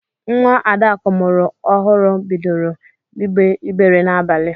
Nwa Adakụ mụrụ ọhụrụ bidoro igbe igbere n'abalị.